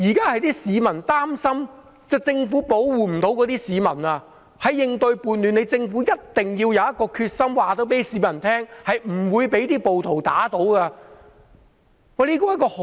現在市民擔心政府無法保護市民，在應對叛亂上，政府一定要有決心告訴市民，政府是不會被暴徒打倒的。